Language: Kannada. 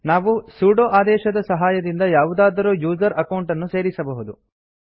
ನಾವು ಸುಡೊ ಆದೇಶದ ಸಹಾಯದಿಂದ ಯಾವುದಾದರೂ ಯೂಸರ್ ಅಕೌಂಟ್ ಅನ್ನು ಸೇರಿಸಬಹುದು